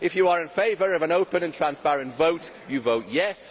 If you are in favour of an open and transparent vote, you vote yes'.